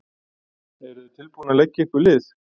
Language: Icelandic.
Eru þau tilbúin til að leggja ykkur lið?